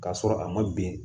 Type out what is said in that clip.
K'a sɔrɔ a ma bɛn